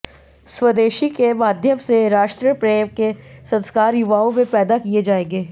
स्वदेशी के माध्यम से राष्ट्र प्रेम के संस्कार युवाओं में पैदा किए जाएंगे